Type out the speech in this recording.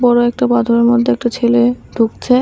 বড়ো একটা পাথরের মধ্যে একটা ছেলে ঢুকছে।